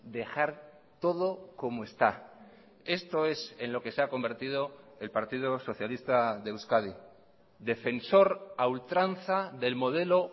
dejar todo como está esto es en lo que se ha convertido el partido socialista de euskadi defensor a ultranza del modelo